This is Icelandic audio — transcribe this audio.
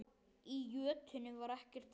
Í jötunni var ekkert vit.